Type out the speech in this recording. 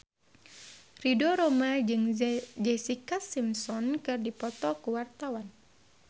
Ridho Roma jeung Jessica Simpson keur dipoto ku wartawan